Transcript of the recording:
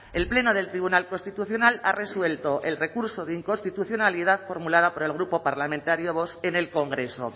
el pleno del tribunal constitucional ha resuelto el recurso de inconstitucionalidad formulado por el grupo parlamentario vox en el congreso